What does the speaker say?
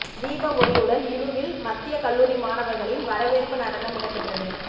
தீப ஒளியுடன் இணுவில் மத்திய கல்லூரி மாணவர்களின் வரவேற்பு நடனம் இடம்பெற்றது